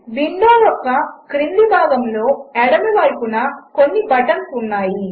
విండోయొక్కక్రిందిభాగములోఎడమవైపున కొన్నిబటన్లుఉన్నాయి